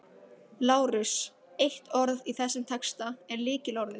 LÁRUS: Eitt orð í þessum texta er lykilorðið.